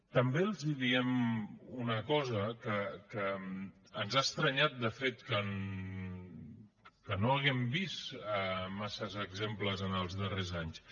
també els diem una cosa que ens ha estranyat de fet que no n’hàgim vist gaires exemples els darrers anys